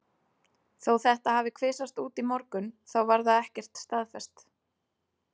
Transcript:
Þó þetta hafi kvisast út í morgun þá var það ekkert staðfest.